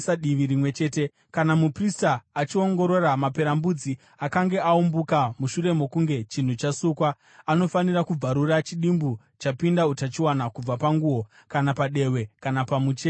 Kana muprista akachiongorora, maperembudzi akange aumbuka mushure mokunge chinhu chasukwa, anofanira kubvarura chidimbu chapinda utachiona kubva panguo, kana padehwe kana pamucheka wakarukwa.